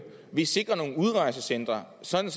vi sikrer nogle udrejsecentre sådan